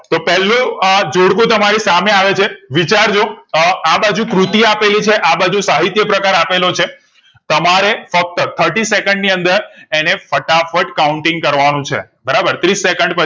તો પેલો જોડ઼કોં તમારી સામે આવે છે વિચાર જો અ આબાજુ કૃતિ આપેલી છે આબાજુ સાહિત્યપ્રકાર આપેલો છે તમારે ફક્ત ત્રીસ સેકન્ડ ની અંદર અને ફટાફટ counting કરવા નું છે બરાબર ત્રીસ સેકન્ડ